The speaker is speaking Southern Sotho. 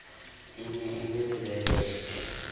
e ne e le lebelete